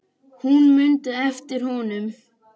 Hún mundi eftir honum.